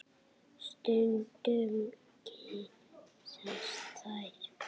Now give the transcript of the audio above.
Stundum kyssast þær.